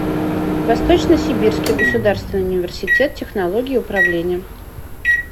восточно сибирский государственный университет технологий и управления